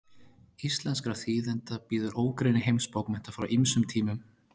íslenskra þýðenda bíður ógrynni heimsbókmennta frá ýmsum tímum